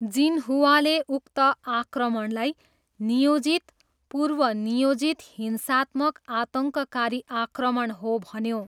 जिनहुवाले उक्त आक्रमणलाई 'नियोजित, पूर्वनियोजित हिंसात्मक आतङ्ककारी आक्रमण' हो भन्यो।